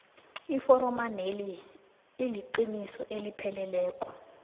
eforomeneli iliqiniso elipheleleko